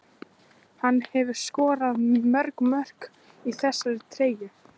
Hann hefur skorað mörg mörk í þessari treyju.